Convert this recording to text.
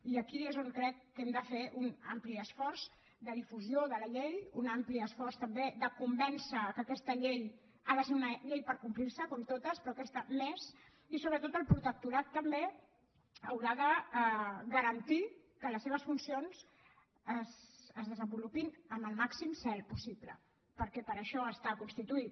i aquí és on crec que hem de fer un ampli esforç de difusió de la llei un ampli esforç també de convèncer que aquesta llei ha de ser una llei perquè es compleixi com totes però aquesta més i sobretot el protectorat també haurà de garantir que les seves funcions es desenvolupin amb el màxim zel possible perquè per a això està constituït